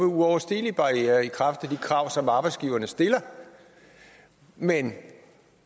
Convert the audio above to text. uoverstigelige barrierer i kraft af de krav som arbejdsgiverne stiller men